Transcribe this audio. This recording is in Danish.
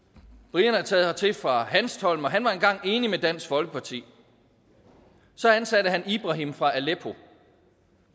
brian er taget hertil fra hanstholm og han var engang enig med dansk folkeparti så ansatte han ibrahim fra aleppo